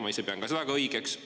Ma ise pean ka seda õigeks.